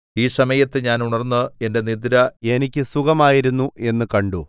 ഈ സമയത്ത് ഞാൻ ഉണർന്നു എന്റെ നിദ്ര എനിക്ക് സുഖകരമായിരുന്നു എന്നു കണ്ടു